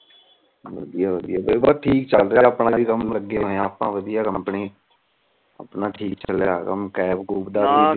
ਵਧੀਆ ਵਧੀਆ ਠੀਕ ਚਲ ਰਿਹਾ ਆਂ ਆਪਣਾ ਵੀ ਕਮ ਲਗੇ ਹੋਏ ਆ ਆਪਾ ਵਧੀਆ ਕੰਪਨੀ ਆਪਣਾ ਚਲਿਆ ਆ ਕਮ